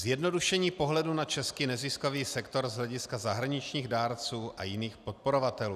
Zjednodušení pohledu na český neziskový sektor z hlediska zahraničních dárců a jiných podporovatelů.